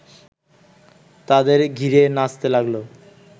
তাদের ঘিরে নাচতে লাগল